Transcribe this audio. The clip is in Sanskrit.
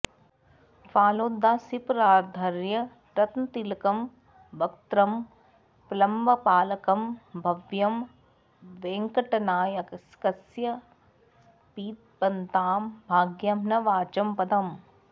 फालोद्भासिपरार्ध्यरत्नतिलकं वक्त्रं प्रलम्बालकं भव्यं वेङ्कटनायकस्य पिबतां भाग्यं न वाचां पदम्